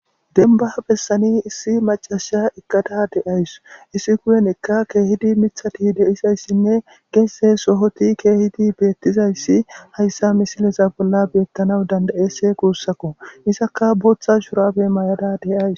Dembba besaani issi maccassiya eqada de7awus. issi kumeththa keehidi miththati de7izayssanne gezze sohoti kehizi beetizaytinne hayssa misleza bolla beetanaw danda7eesi guussikko. izakka booththa shurabe mayada de7awus.